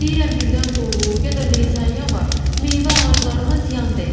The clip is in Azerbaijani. Deyirəm birdən dolu, ya da leysan yağar, meyvə ağaclarıma ziyan dəyər.